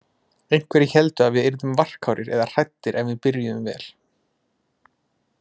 Einhverjir héldu að við yrðum varkárir eða hræddir en við byrjuðum vel.